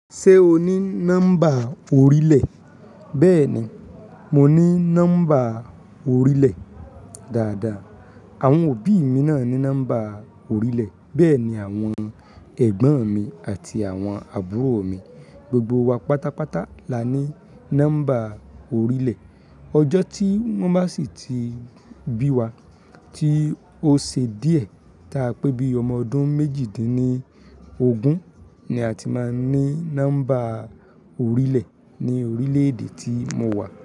Ṣé o ní nọ́mbà orílẹ̀? Bẹ́ẹ̀ ni, mo ní nọ́mbà orílẹ̀. Dáadáa, àwọn òbí mi náà ní number orílẹ̀, bẹ́ẹ̀ ni àwọn ẹ̀gbọ́n mi àti àwọn àbúrò mi Gbogbo wa pátápátá la ní nọ́mbà orílẹ̀ Ọjọ́ tí wọ́n bá sì ti bí wa tí ó ṣe díẹ̀, tá a pé bí ọmọ ọdún méjìdínní ogún ni a ti máa ní nọ́mbà orílẹ̀ ní orílẹ̀-èdè tí mo wà.